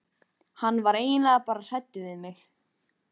Hann var eiginlega bara hræddur við mig.